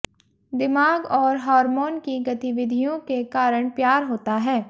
दिमाग और हार्मोन की गतिविधियों के कारण प्यार होता है